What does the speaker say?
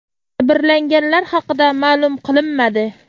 Jabrlanganlar haqida ma’lum qilinmadi.